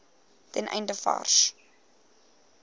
ten einde vars